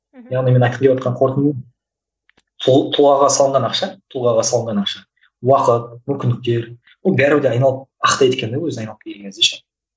мхм яғни менің айтқым келгелі отқан қортынды тұлғаға салынған ақша тұлғаға салынған ақша уақыт мүмкіндіктер оның бәрібір де айналып ақтайды екен де өзі айналып келген кезде ше